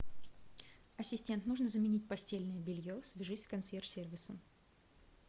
ассистент нужно заменить постельное белье свяжись с консьерж сервисом